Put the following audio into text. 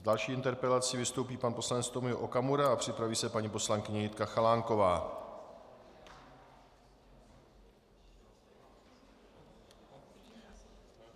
S další interpelací vystoupí pan poslanec Tomio Okamura a připraví se paní poslankyně Jitka Chalánková.